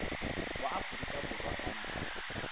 wa aforika borwa ka nako